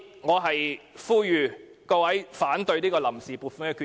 我呼籲各位反對這項臨時撥款決議案。